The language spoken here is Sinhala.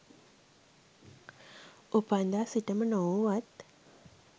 උපන්දා සිටම නොවූවත්